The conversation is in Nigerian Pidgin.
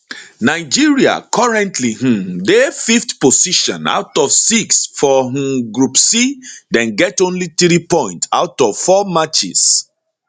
nigeria currently um dey 5th position out of 6 for um group c dem get only 3 points out of 4 matches